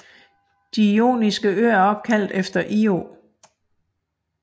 De Joniske Øer er opkaldt efter Io